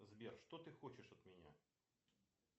сбер что ты хочешь от меня